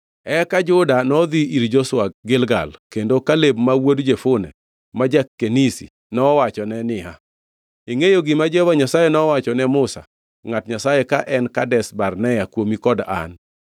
Eka jo-Juda nodhi ir Joshua Gilgal kendo Kaleb ma wuod Jefune ma ja-Kenizi nowachone niya, “Ingʼeyo gima Jehova Nyasaye nowachone Musa, ngʼat Nyasaye ka en Kadesh Barnea kuomi kod an.